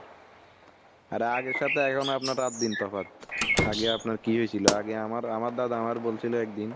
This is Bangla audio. আর আগের সাথে এখন আপনার রাত দিন তফাৎ। আগে আপনার কি হয়ে ছিল ? আগে আমার আমার দাদা আমার বলছিলো একদিন